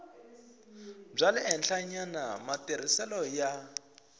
bya le henhlanyana matirhiselo ya